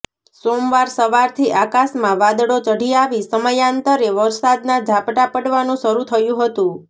સોમવાર સવારથી આકાશમાં વાદળો ચઢી આવી સમયાંતરે વરસાદના ઝાપટાં પડવાનું શરૂ થયું હતું